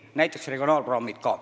Näiteks on need ka regionaalprogrammid.